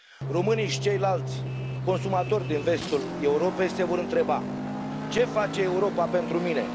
Românii și ceilalți consumatori din vestul Europei se vor întreba ce face Europa pentru mine?